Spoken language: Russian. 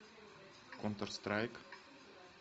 контр страйк